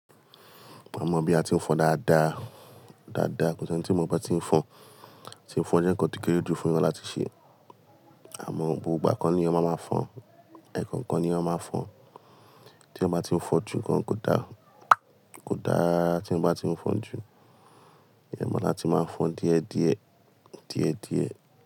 Mi mọ bí a ti ń fọ́n dáadáa, dáadáa. Kò sí ẹni tí n ò mọ bí a ti ń fọ́n. Ti fọ́n jẹ́ ǹkan tó kéré jù fún ẹyan láti ṣe. Àmọ́, gbogbo ìgbà koni ẹyan máa máa fọn, ẹ̀ẹ̀kan kan ni a máa máa fọn. Tí ẹ máa ti ń fọ́n jù, gan kò dá, kò dá rara rara tí ń bá ti ń fọ́n jù. Oda láti máa ń fọ́n díẹ̀ díẹ̀, díẹ̀ díẹ̀